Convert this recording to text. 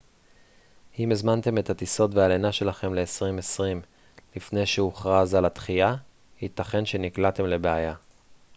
אם הזמנתם את הטיסות והלינה שלכם ל-2020 לפני שהוכרז על הדחייה ייתכן שנקלעתם לבעיה